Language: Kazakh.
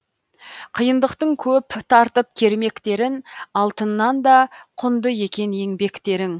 қиындықтың көп тартып кермектерін алтыннан да құнды екен еңбектерің